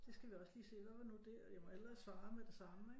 Så skal vi også lige se hvad var nu det og jeg må hellere svare med det samme ikke